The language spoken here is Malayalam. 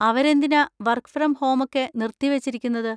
അവരെന്തിനാ വർക്ക് ഫ്രം ഹോമൊക്കെ നിർത്തിവെച്ചിരിക്കുന്നത്?